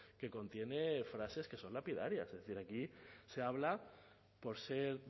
que contiene frases que son lapidarias es decir aquí se habla por ser